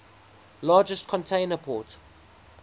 largest container port